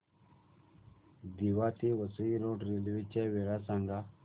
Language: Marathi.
दिवा ते वसई रोड रेल्वे च्या वेळा सांगा